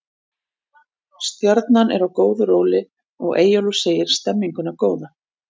Stjarnan er á góðu róli og Eyjólfur segir stemminguna góða.